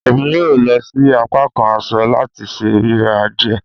Emi yoo lọ si apakan aṣọ lati ṣe rira diẹ